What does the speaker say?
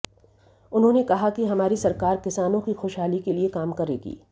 उन्होंने कहा कि हमारी सरकार किसानों की खुशहाली के लिए काम करेगी